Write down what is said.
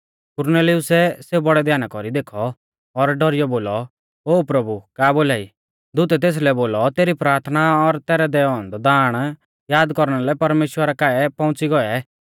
कुरनेलिउसै सेऊ बौड़ै ध्याना कौरी देखौ और डौरीऔ बोलौ ओ प्रभु का बोलाई दूतै तेसलै बोलौ तेरी प्राथना और तैरै दैऔ औन्दौ दाण याद कौरना लै परमेश्‍वरा काऐ पौउंच़ी गौऐ